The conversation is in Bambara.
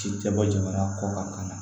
Ci tɛ bɔ jamana kɔ kan ka na